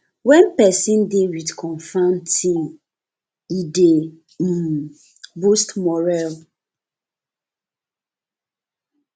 when person dey with confirm team e dey um boost morale